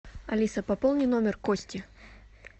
алиса пополни номер кости